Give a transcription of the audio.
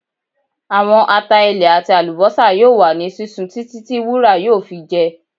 Awọn ata ilẹ ati alubosa yoo wa ni sisun titi ti wura yoo fi jẹ